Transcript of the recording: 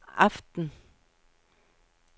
aften